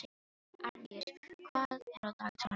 Árndís, hvað er á dagatalinu í dag?